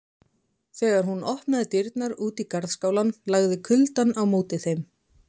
Þegar hún opnaði dyrnar út í garðskálann lagði kuldann á móti þeim.